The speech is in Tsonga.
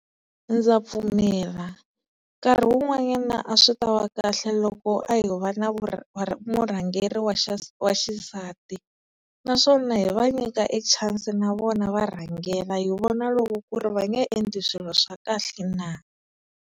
Ndza pfumela, nkarhi wun'wanyana a swi ta wa kahle loko a ho va na murhangeri wa wa xisati naswona hi va nyika e-chance-i na vona va rhangela hi vona loko ku ri va nge endli swilo swa kahle na.